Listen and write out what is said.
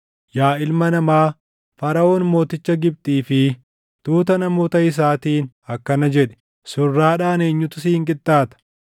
“Yaa ilma namaa, Faraʼoon mooticha Gibxii fi tuuta namoota isaatiin akkana jedhi: “ ‘Surraadhaan eenyutu siin qixxaata?